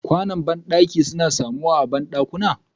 Ƙwano bandaki suna samuwa a bandaki.